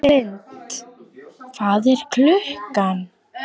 Ísalind, hvað er klukkan?